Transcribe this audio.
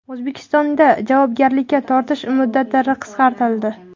O‘zbekistonda javobgarlikka tortish muddatlari qisqartirildi.